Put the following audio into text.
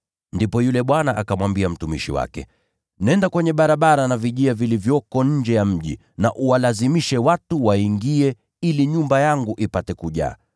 “Ndipo yule bwana akamwambia mtumishi wake, ‘Nenda kwenye barabara na vijia vilivyoko nje ya mji na uwalazimishe watu waingie ili nyumba yangu ipate kujaa.